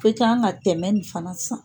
I kan ka tɛmɛ fana san.